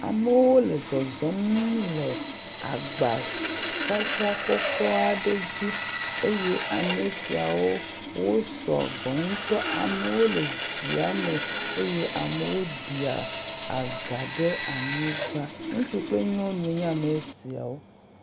Amewo le zɔzɔm le agbasasra kɔkɔ aɖe dzi eye ame siawo sɔgbɔ ŋutɔ. Amewo le ɖzia me eye amewo dia gã ɖe anyigba. Ŋutsu kple nyɔnu nye woame eveawo.